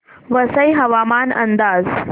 वसई हवामान अंदाज